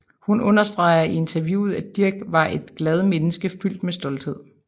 Hun understreger i interviewet at Dirch var et glad menneske fyldt med stolthed